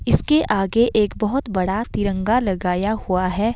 इसके आगे एक बहोत बड़ा तिरंगा लगाया हुआ है।